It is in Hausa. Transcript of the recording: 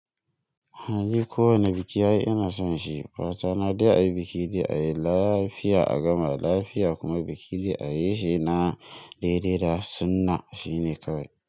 Hali kowane biki ina son shi. Fata na dai a yi biki dai a yi lafiya a gama lafiya kuma biki dai a yi shi na daidai da sunna shine kawai.